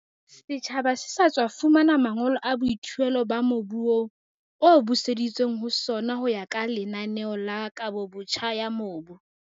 Setjhaba se sa tswa fumana mangolo a boithuelo ba mobu oo, o buseditsweng ho sona ho ya ka lenaneo la kabobotjha ya mobu.